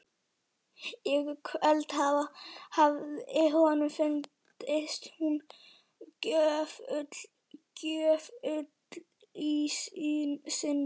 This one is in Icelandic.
Í kvöld hafði honum fundist hún gjöful í sinni.